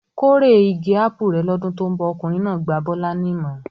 "Kórè igi ápù rẹ̀ lọ́dún tó ń bọ̀!" Ọkùnrin náà gba Bọ́lá ní ìmọ̀ràn.